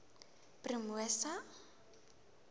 promosa